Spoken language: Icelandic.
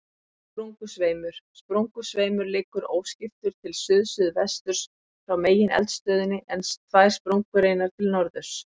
Sprungusveimur Sprungusveimur liggur óskiptur til suðsuðvesturs frá megineldstöðinni, en tvær sprungureinar til norðurs.